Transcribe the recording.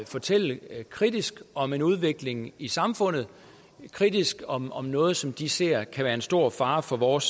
fortælle kritisk om en udvikling i samfundet kritisk om om noget som de ser kan være en stor fare for vores